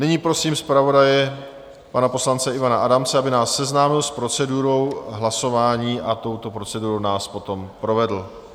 Nyní prosím zpravodaje pana poslance Ivana Adamce, aby nás seznámil s procedurou hlasování a touto procedurou nás potom provedl.